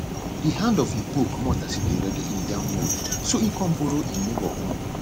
di hand of hin hoe comot as e dey ready hin yam mould so e come borrow um hin neighbour own